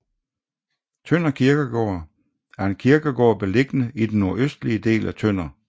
Tønder Kirkegård er en kirkegård beliggende i den nordøstlige del af Tønder